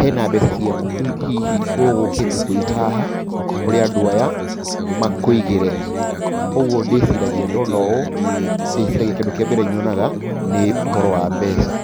hena mbeca ciaku hihi ũgũkĩte kũiga haha kũrĩ andũ aya makũigĩre. Koguo ndona ũũ ndĩciragia kana kĩndũ kĩa mbere nyonaga nĩ ũhoro wa mbeca.